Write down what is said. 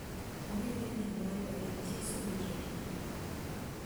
Ongetien eng boiboiyet, Jesu koyetindet